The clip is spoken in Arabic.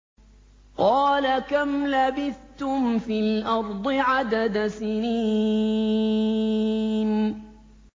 قَالَ كَمْ لَبِثْتُمْ فِي الْأَرْضِ عَدَدَ سِنِينَ